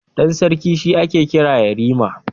Ɗan sarki shi ake kira yarima.